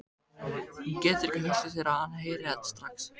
Hún getur ekki hugsað sér að hann heyri þetta strax.